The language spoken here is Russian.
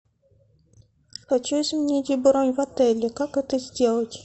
хочу изменить бронь в отеле как это сделать